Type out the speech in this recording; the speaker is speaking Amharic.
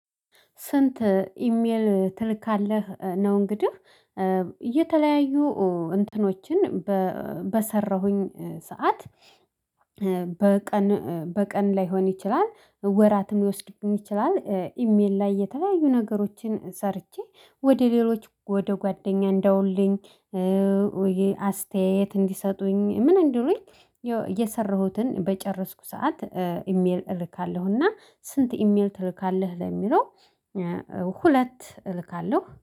ስንት ኢሜል ትልካለህ ነው? እንግዲህ የተለያዩ እንትኖችን በሰራሁኝ ሰዓት። በቀን በቀን ላይሆን ይችላል ወራትም ሊወስድብኝ ይችላል ኢሜል ላይ የተለያዩ ነገሮችን ሰርቼ ወደ ሌሎች ወደ ጓደኛ እንደውልኝ። አስተያየት እንዲሰጡኝ ምን እንድሉኝ የሰራሁትን በጨረስኩ ሰዓት። ኢሜል እልካለሁና ስንት ኢሜል ትልካለህ ለሚለው? ሁለት እልካለሁ